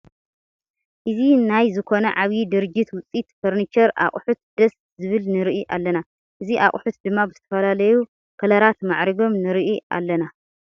እዚ ናይ ዝኮነ ዓብይ ድርጅት ውፅኢት ፈርኒቸር ኣቁሑት ደስ ዝብልንርኢ ኣለና ። እዚ ኣቁሑት ድማ ብዝተፈላለዩ ከለራት ማዕሪጎም ንርኢ ኣለና።